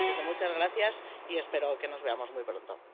Así que, muchas gracias y espero que nos veamos muy pronto.